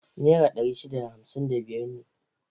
Nera ɗari shida da hamsin da biyar ne.